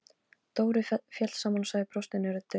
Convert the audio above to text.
Dóri féll saman og sagði brostinni röddu: